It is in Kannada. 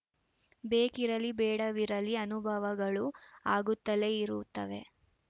ಬೇಕಿರಲಿ ಬೇಡವಿರಲಿ ಅನುಭವಗಳು ಆಗುತ್ತಲೇ ಇರುತ್ತವೆ